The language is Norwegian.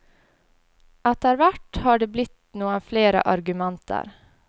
Etterhvert har det blitt noen flere arrangementer.